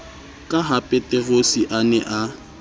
ka hapeterose a ne a